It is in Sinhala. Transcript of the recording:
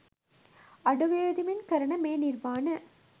අඩු වියදමින් කරන මේ නිර්මාණ